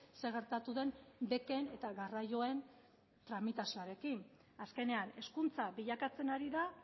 zer gertatu den beken eta garraioen tramitazioarekin azkenean hezkuntza bilakatzen ari da